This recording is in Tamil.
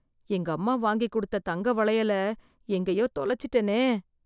எங்கம்மா வாங்கி கொடுத்த தங்கம் வளையல எங்கேயோ தொலைச்சுட்டேனே